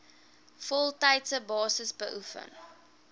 voltydse basis beoefen